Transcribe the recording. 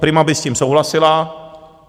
Prima by s tím souhlasila.